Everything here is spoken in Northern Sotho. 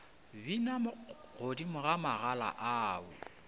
bina godimo ga magala ao